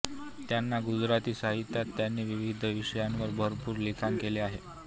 त्यांनी गुजराती साहित्यात त्यांनी विविध विषयांवर भरपूर लिखाण केले आहे